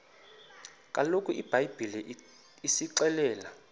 kaloku ibhayibhile isixelela